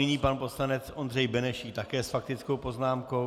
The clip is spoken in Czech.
Nyní pan poslanec Ondřej Benešík také s faktickou poznámkou.